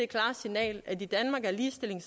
klare signal at i danmark er ligestilling